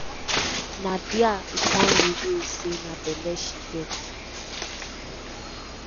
na dia e come reveal say na belle she get."